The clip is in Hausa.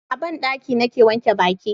a banɗaki ni ke wanke baki